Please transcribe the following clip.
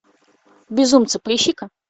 безумцы поищи ка